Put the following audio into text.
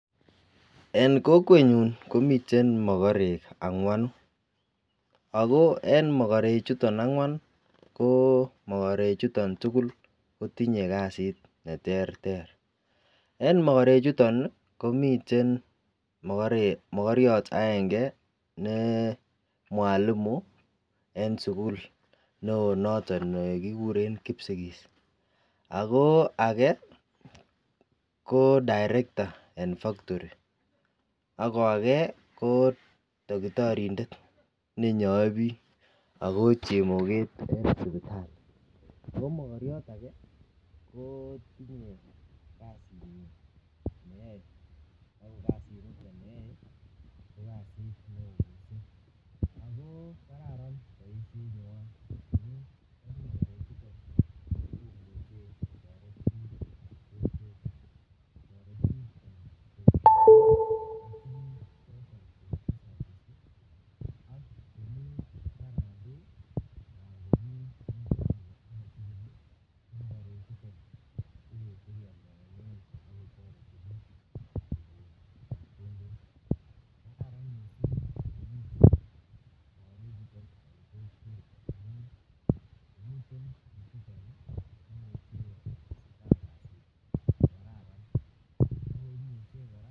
En Kokwenyun komiten magarek angwanu ago en magarek chuton angwan KO magarek chuton tugul kotinye kasit neterteren magarek chuton komiten aenge NE Mwalimu en sukul neon noton nekikuren kipsigis ago age kodirecto en factoriako age ko takitariek nenyoe bik ako chemoketakom akariot